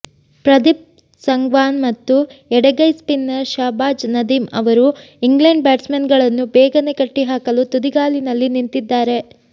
ಪ್ರದೀಪ್ ಸಂಗ್ವಾನ್ ಮತ್ತು ಎಡಗೈ ಸ್ಪಿನ್ನರ್ ಶಹಬಾಜ್ ನದೀಮ್ ಅವರು ಇಂಗ್ಲೆಂಡ್ ಬ್ಯಾಟ್ಸ್ಮನ್ಗಳನ್ನು ಬೇಗನೆ ಕಟ್ಟಿಹಾಕಲು ತುದಿಗಾಲಿನಲ್ಲಿ ನಿಂತಿದ್ದಾರೆ